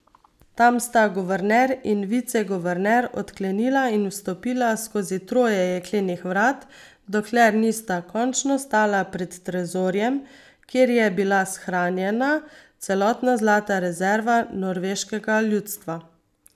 Tam sta guverner in viceguverner odklenila in vstopila skozi troje jeklenih vrat, dokler nista končno stala pred trezorjem, kjer je bila shranjena celotna zlata rezerva norveškega ljudstva.